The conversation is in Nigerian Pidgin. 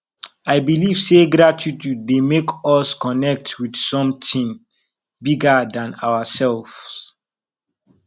i believe say gratitude dey make us connect with something bigger than ourselves